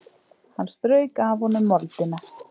Hann strauk af honum moldina.